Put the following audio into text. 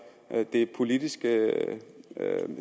det politiske